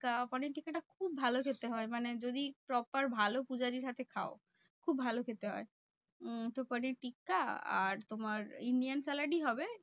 পানির টিক্কাটা খুব ভালো খেতে হয়। মানে যদি proper ভালো পূজারীর হাতে খাও। খুব ভালো খেতে হয়। উম তো পানির টিক্কা আর তোমার Indian salad ই হবে।